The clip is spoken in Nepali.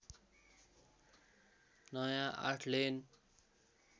नया आठलेन